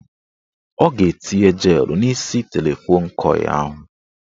A ga-ete jelụ n' isi telefon kọị ahụ.